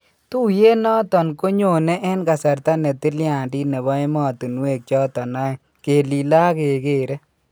Tuyeet noton konyonee en kasarta ne tilyandit nebo emotunwek choton aeng kelilee ak akekeree